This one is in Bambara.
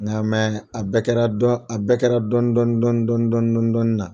Nka mɛ a bɛɛ kɛra kɛra dɔn a bɛɛ kɛra dɔn dɔn dɔn dɔn dɔn dɔɔni na